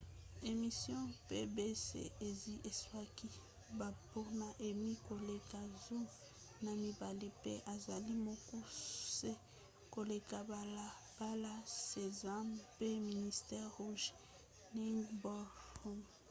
emission pbs esi ezwaki bambano emmy koleka zomi na mibale npe ezali mokuse koleka balabala sesame pe mister rogers 'neighborhood